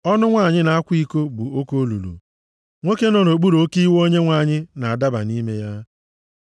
Ọnụ nwanyị na-akwa iko bụ oke olulu, nwoke nọ nʼokpuru oke iwe Onyenwe anyị na-adaba nʼime ya.